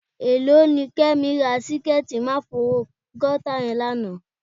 Èló ni Kẹ́mi ra síkẹ́ẹ̀tí máfogọ́tà yẹn lánàá?